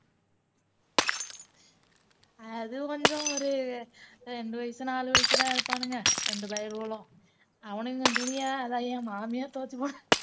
அது கொஞ்சம் ஒரு அஹ் ரெண்டு வயசு நாலு வயசு தான் இருப்பானுங்க ரெண்டு பயலுவலும் அவனுங்க துணியா அதை என் மாமியார் துவச்சு போடு